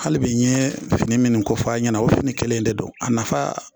Hali bi nye fini minnu kofɔ a' ɲɛna o fini kelen in de don a nafa